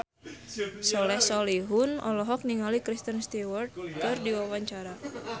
Soleh Solihun olohok ningali Kristen Stewart keur diwawancara